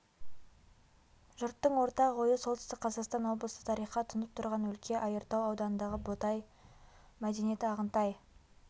жұрттың ортақ ойы солтүстік қазақстан облысы тарихқа тұнып тұрған өлке айыртау ауданындағы ботай мәдениеті ағынтай